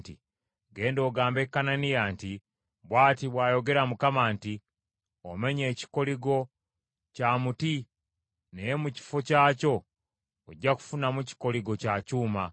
“Genda ogambe Kananiya nti, ‘Bw’ati bw’ayogera Mukama nti, Omenye ekikoligo kya muti naye mu kifo kyakyo ojja kufunamu kikoligo kya kyuma.